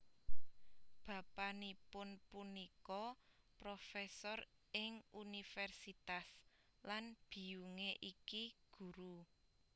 Bapanipun punika profesor ing Universitas lan biyunge iki guru